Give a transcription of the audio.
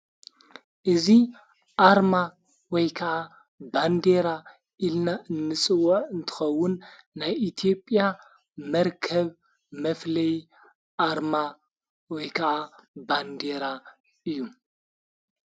እዙ ኣርማ ወይ ከዓ ባንዴራ ኢልና እምስወ እንተኸውን ናይ ኢቲዮጵያ መርከብ መፍለይ ኣርማ ወይከዓ ባንዴይራ እዩ።